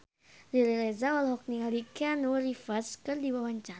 Riri Reza olohok ningali Keanu Reeves keur diwawancara